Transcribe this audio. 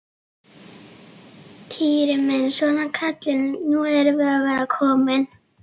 Týri minn, svona kallinn, nú erum við að verða komin.